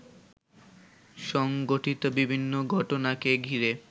সংঘঠিত বিভিন্ন ঘটনাকে ঘিরে